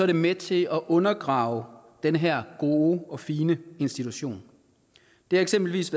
det med til at undergrave den her gode og fine institution det var eksempelvis